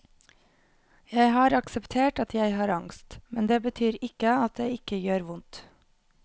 Jeg har akseptert at jeg har angst, men det betyr ikke at det ikke gjør vondt.